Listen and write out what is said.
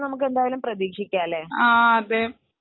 okay ഇതൊക്കെ എന്തായാലും മാറുമെന്ന് നമുക്ക് പ്രതീക്ഷിക്കാം അല്ലെ